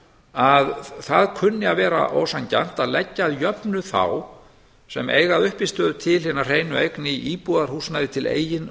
að það kunni að vera ósanngjarnt að leggja að jöfnu þá sem eiga að uppistöðu til hina hreinu eign í íbúðarhúsnæði til eigin